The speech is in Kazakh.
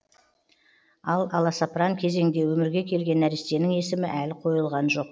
ал аласапыран кезеңде өмірге келген нәрестенің есімі әлі қойылған жоқ